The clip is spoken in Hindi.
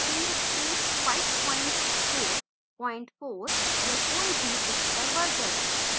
php 544 या कोई भी उच्चतर version